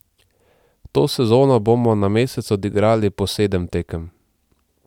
To sezono bomo na mesec odigrali po sedem tekem.